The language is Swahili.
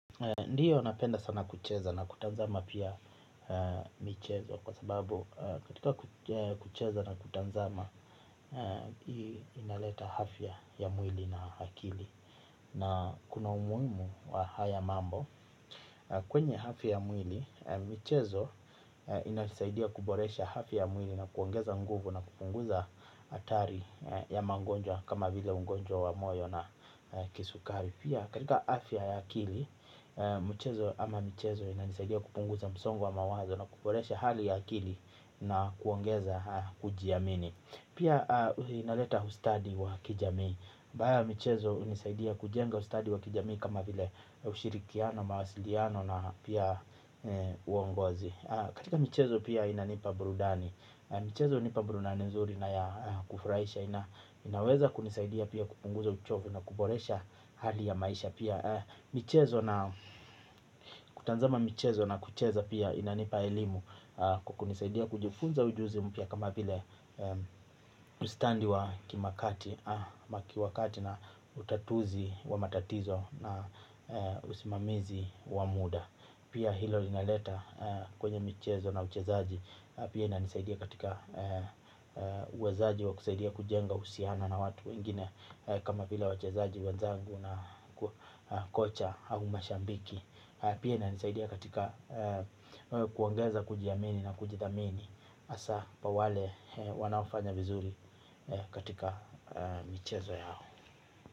Ndiyo napenda sana kucheza na kutazama pia michezo kwa sababu katika kucheza na kutazama. Inaleta afya ya mwili na akili na kuna umuhimu wa haya mambo kwenye afya ya mwili michezo inasaidia kuboresha afya ya mwili na kuongeza nguvu na kupunguza hatari ya magonjwa kama vile ugonjwa wa moyo na kisukari. Pia katika afya ya akili, mchezo ama michezo inanisaidia kupunguza msongo wa mawazo na kuboresha hali ya akili na kuongeza kujiamini. Pia inaleta ustadi wa kijamii. Ba ya michezo hunisaidia kujenga ustadi wa kijamii kama vile ushirikiano, mawasiliano na pia uongozi. Katika michezo pia inanipa burudani. Michezo hunipa burudani nzuri na ya kufurahisha inaweza kunisaidia pia kupunguza uchovu na kuboresha hali ya maisha pia michezo na kutazama michezo na kucheza pia inanipa elimu kwa kunisaidia kujifunza ujuzi mpya kama vile ustadi wa kimakati, ama kiwakati na utatuzi wa matatizo na usimamizi wa muda. Pia hilo linaleta kwenye michezo na uchezaji. Pia inanisaidia katika uwezaji wa kusaidia kujenga uhusiana na watu wengine. Kama vile wachezaji wanzangu na kocha au mashabiki. Pia inanisaidia katika kuongeza kujiamini na kujithamini. Hasaa pa wale wanaofanya vizuri katika michezo yao.